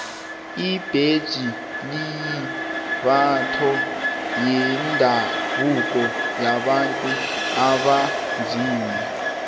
ibhetjha liyimbatho yendabuko yabantu abanzima